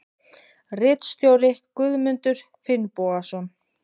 Ritstjóri Guðmundur Finnbogason.